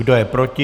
Kdo je proti?